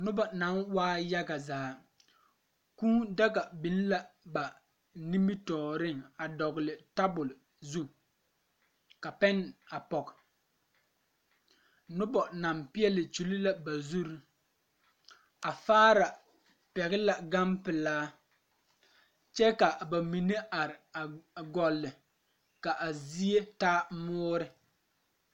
Noba naŋ waa yaga zaa kuu daga biŋ la ba nimitɔɔriŋ a dɔgle tabol zu ka pɛn. a pɔge noba naŋ peɛle kyul la ba zuri a faara pɛgl la gan pilaa kyɛ ka ba mine a are gɔlle ka a zie taa mɔɔre.